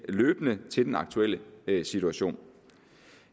løbende til den aktuelle situation